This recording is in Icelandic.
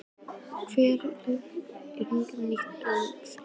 Hvernig hyggst Ólafur nýta EM fríið?